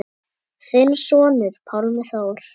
Þinn sonur, Pálmi Þór.